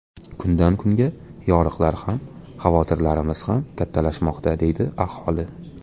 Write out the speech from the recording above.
Kundan kunga yoriqlar ham xavotirlarimiz ham kattalashmoqda, deydi aholi.